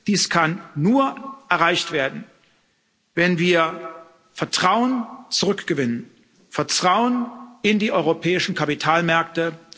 Dies kann nur erreicht werden, wenn wir Vertrauen zurückgewinnen Vertrauen in die europäischen Kapitalmärkte.